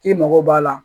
K'i mago b'a la